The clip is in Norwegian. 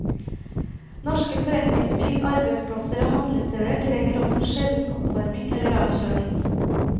Norske forretningsbygg, arbeidsplasser og handlesteder trenger også sjelden oppvarming eller avkjøling.